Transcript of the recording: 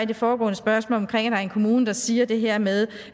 det foregående spørgsmål er en kommune der siger det her med